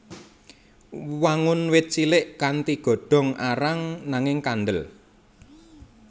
Wangun wit cilik kanthi godhong arang nanging kandel